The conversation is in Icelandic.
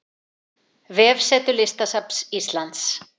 Vefsetur Listasafns Íslands